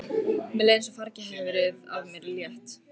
Mér leið eins og fargi hefði verið af mér létt.